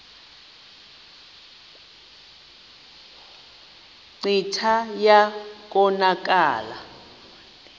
kclta wa konakala